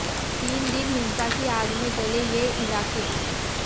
तीन दिन हिंसा की आग में जले ये इलाके